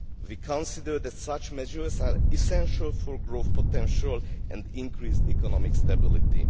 We consider that such measures are essential for growth potential and increased economic stability.